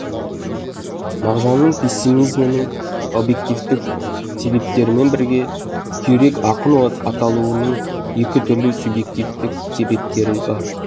мағжанның пессимизмінің объективтік себептерімен бірге күйрек ақын аталуының екі түрлі субъективтік себептері бар